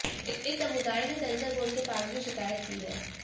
इस समुदाय ने सेंसर बोर्ड के पास भी शिकायत की है